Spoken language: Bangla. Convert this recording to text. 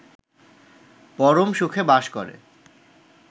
পরম সুখে বাস করে